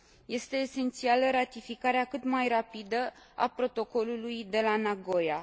Este esențială ratificarea cât mai rapidă a Protocolului de la Nagoya.